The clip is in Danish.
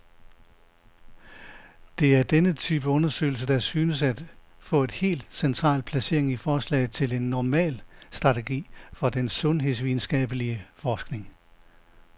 Det er denne type undersøgelser, der synes at få et helt central placering i forslaget til en normal strategi for den sundhedsvidenskabelig forskning.